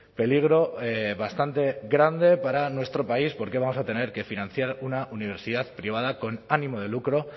peligro bastante grande para nuestro país porque vamos a tener que financiar una universidad privada con ánimo de lucro